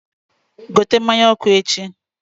gote mmanya ọkụ echi!